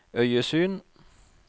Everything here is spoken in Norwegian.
øyesyn